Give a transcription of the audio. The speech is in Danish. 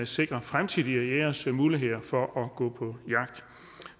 sikre fremtidige jægeres muligheder for at gå på jagt